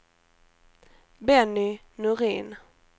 Benny Norin